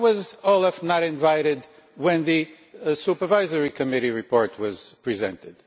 Why was OLAF not invited when the Supervisory Committee report was presented?